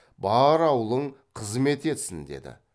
бар аулың қызмет етсін деді